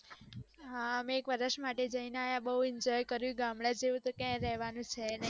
હા અમે એક વર્ષ માટે જઈને આવ્યા બૌ enjoy કર્યું ગામડા જેવું તો ક્યાય રેવાનું છે નય